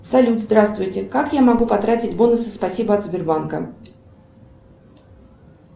салют здравствуйте как я могу потратить бонусы спасибо от сбербанка